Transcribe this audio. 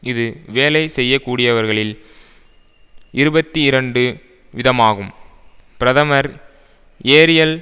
இது வேலை செய்யக்கூடியவர்களில் இருபத்தி இரண்டு விதமாகும் பிரதமர் ஏரியல்